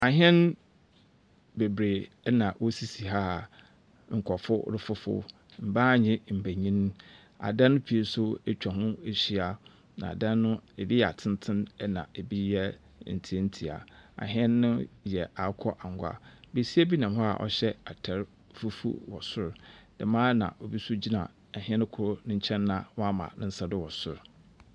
Ahɛn bebree na wɔsisi ha a nkurɔfo refoforo. Mbaa nye mbenyin. Adan pii nso atwa ho ahyia, na adan no ebi yɛ atenten na ebi yɛ ntientia. Ahɛn no yɛ akokɔ angwa. Besia bi nam hɔ a ɔhyɛ ataar fufuo wɔ sor, dɛm ara na obi nso gyina ahɛn no kor nkyɛn a wama ne nsa do wɔ sor.